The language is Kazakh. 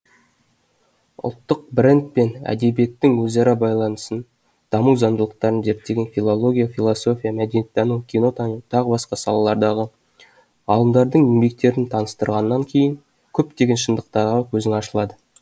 ұлттық брэнд пен әдебиеттің өзара байланысын даму заңдылықтарын зерттеген филология философия мәдениеттану кинотану т б салаларындағы ғалымдардың еңбектерін таныстырғаннан кейін көптеген шындықтарға көзің ашылады